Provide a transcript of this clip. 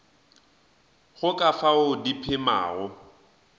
go ka fao di phemago